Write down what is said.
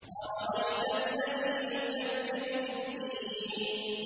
أَرَأَيْتَ الَّذِي يُكَذِّبُ بِالدِّينِ